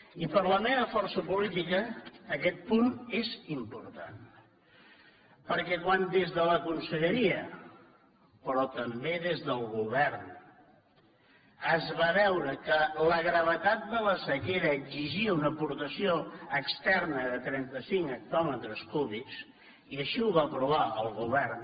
i per a la meva força política aquest punt és important perquè quan des de la conselleria però també des del govern es va veure que la gravetat de la sequera exigia una aportació externa de trenta cinc hectòmetres cúbics i així ho va aprovar el govern